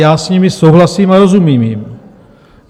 Já s nimi souhlasím a rozumím jim.